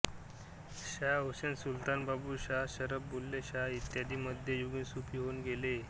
शाह हुसेन सुलतान बाबू शाह शरफ बुल्ले शाह इत्यादी मध्य युगीन सूफी होऊन गेले